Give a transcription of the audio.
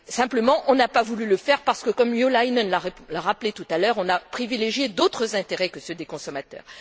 Simplement, on n'a pas voulu le faire parce que, comme Jo Leinen l'a rappelé tout à l'heure, on a privilégié d'autres intérêts que ceux des consommateurs.